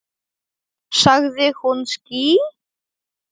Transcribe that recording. Sagði hún ský?